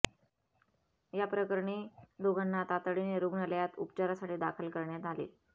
या प्रकरणी दोघांना तातडीने रुग्णालयात उपचारासाठी दाखल करण्यात आले